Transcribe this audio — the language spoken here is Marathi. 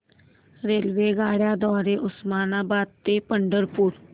रेल्वेगाड्यां द्वारे उस्मानाबाद ते पंढरपूर